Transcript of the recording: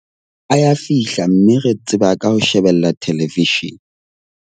A ya fihla mme re tseba ka ho shebella theleveshene.